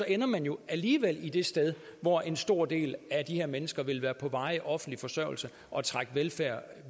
ender man jo alligevel det sted hvor en stor del af de her mennesker vil være på varig offentlig forsørgelse og trække velfærd